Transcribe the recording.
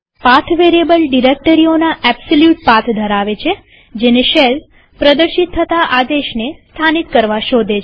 path variable ડિરેક્ટરીઓના absolute path ધરાવે છે જેને શેલ પ્રદર્શિત થતા આદેશને સ્થાનીત કરવા શોધે છે